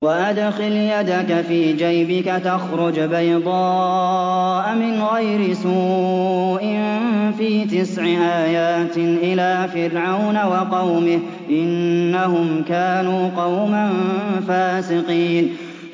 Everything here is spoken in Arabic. وَأَدْخِلْ يَدَكَ فِي جَيْبِكَ تَخْرُجْ بَيْضَاءَ مِنْ غَيْرِ سُوءٍ ۖ فِي تِسْعِ آيَاتٍ إِلَىٰ فِرْعَوْنَ وَقَوْمِهِ ۚ إِنَّهُمْ كَانُوا قَوْمًا فَاسِقِينَ